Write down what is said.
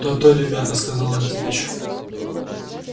то-то ребята сказал антипыч